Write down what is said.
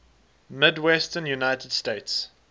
midwestern united states